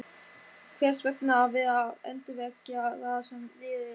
Hvers vegna að vera að endurvekja það sem liðið er?